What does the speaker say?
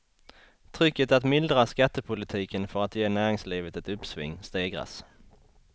Trycket att mildra skattepolitiken för att ge näringslivet ett uppsving stegras.